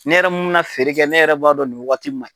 Ne yɛrɛ mun mɛ na feere kɛ ne yɛrɛ b'a dɔn nin wagati ma